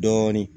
Dɔɔni